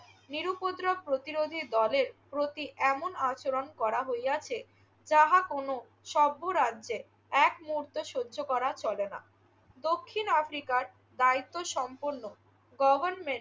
নিরুপদ্রব প্রতিরোধী দলের প্রতি এমন আচরণ করা হইয়াছে যাহা কোনো সভ্য রাজ্যে এক মুহূর্ত সহ্য করা চলে না। দক্ষিণ আফ্রিকার দায়িত্বসম্পন্ন গভর্নমেন্ট